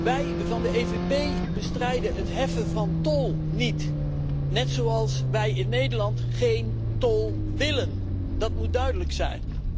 Wij van de PPE bestrijden het heffen van tol niet, net zoals wij in Nederland geen tol willen, dat moet duidelijk zijn.